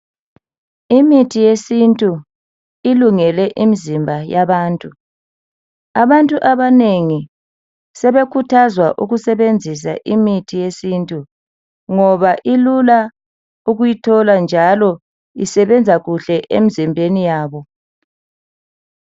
Imithi yesintu ilungele imizimba yabantu. Abantu abanengi sebekhuthazwa ukusebenzisa imithi yesintu ngoba ilula ukuyithola njalo isebenza kuhle emzimbeni yabo.